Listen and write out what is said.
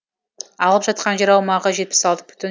алып жатқан жер аумағы жетпіс алты бүтін